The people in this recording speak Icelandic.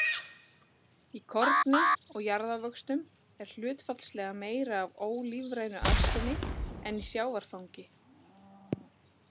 Í korni og jarðávöxtum er hlutfallslega meira af ólífrænu arseni en í sjávarfangi.